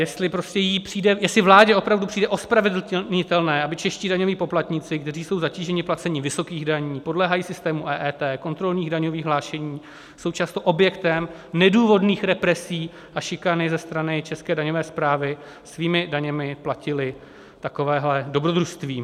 Jestli vládě opravdu přijde ospravedlnitelné, aby čeští daňoví poplatníci, kteří jsou zatíženi placením vysokých daní, podléhají systému EET, kontrolních daňových hlášení, jsou často objektem nedůvodných represí a šikany ze strany české daňové správy, svými daněmi platili takovéhle dobrodružství.